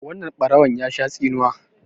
wannan barawon ya Sha tsinuwa